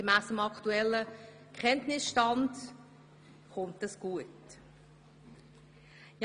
Gemäss dem aktuellen Kenntnisstand sind wir auf gutem Weg.